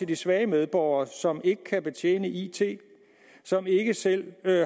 de svage medborgere som ikke kan betjene it som ikke selv